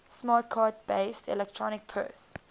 smart card based electronic purse